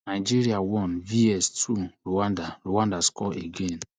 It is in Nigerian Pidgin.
nigeria one vs two rwanda rwanda score again